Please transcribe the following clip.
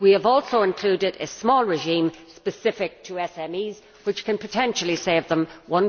We have also included a small regime specific to SMEs, which can potentially save them EUR